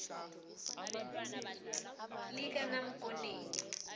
likanamkoneni